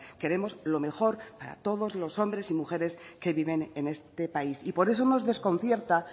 queremos lo mejor para todos los hombres y mujeres que viven en este país por eso nos desconcierta